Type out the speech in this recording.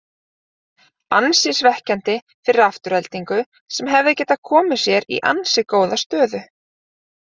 Ansi svekkjandi fyrir Aftureldingu sem hefði getað komið sér í ansi góða stöðu.